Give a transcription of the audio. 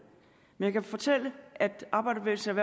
men jeg kan fortælle at arbejderbevægelsens